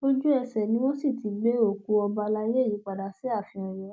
ojúẹsẹ ni wọn sì ti ti gbé òkú ọba àlàyé yìí padà sí ààfin ọyọ